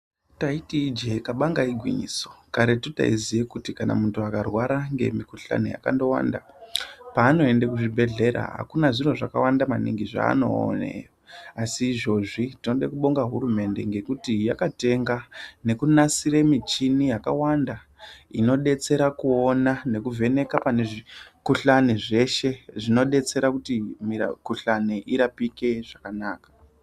Taiti ijeee kabanga igwinyiso karetu taiziye kuti Kana muntu akarwara ngemukhulani yakandowanda paanoende kuzvibhedhlera Akuna zviro zvakawanda maningi zvaanoone asi izvozvi tinoda kubonga hurumende ngekuti yakatenga Nekunasire michini yakawanda inodetsera kuona nekuvheneka pane zvikhuhlani zveshe zvinodetsera kuti mira khuhlani irapike zvakanaka.